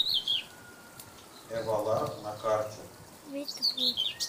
эвалар на карте